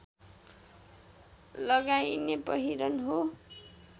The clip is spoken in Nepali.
लगाइने पहिरन हो